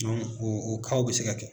o o bɛ se ka kɛ.